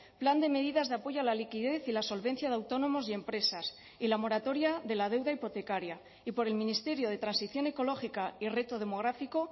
plan de medidas de apoyo a la liquidez y la solvencia de autónomos y empresas y la moratoria de la deuda hipotecaria y por el ministerio de transición ecológica y reto demográfico